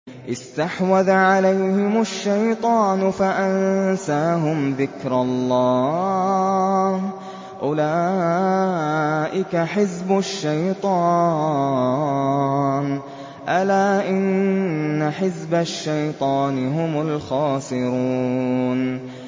اسْتَحْوَذَ عَلَيْهِمُ الشَّيْطَانُ فَأَنسَاهُمْ ذِكْرَ اللَّهِ ۚ أُولَٰئِكَ حِزْبُ الشَّيْطَانِ ۚ أَلَا إِنَّ حِزْبَ الشَّيْطَانِ هُمُ الْخَاسِرُونَ